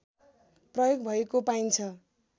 प्रयोग भएको पाइन्छ